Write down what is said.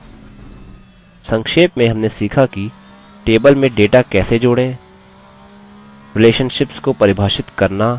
संक्षेप में हमने सीखा कि टेबल में डेटा कैसे जोड़ें रिलेशनशिप्स को परिभाषित करना और बनाना